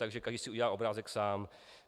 Takže každý si udělal obrázek sám.